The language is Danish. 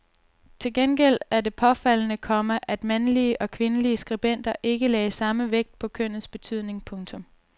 Til gengæld er det påfaldende, komma at mandlige og kvindelige skribenter ikke lagde samme vægt på kønnets betydning. punktum